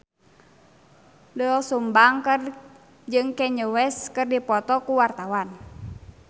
Doel Sumbang jeung Kanye West keur dipoto ku wartawan